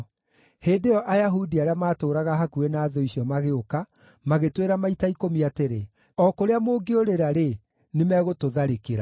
Hĩndĩ ĩyo Ayahudi arĩa maatũũraga hakuhĩ na thũ icio magĩũka, magĩtwĩra maita ikũmi atĩrĩ, “O kũrĩa mũngĩũrĩra-rĩ, nĩmegũtũtharĩkĩra.”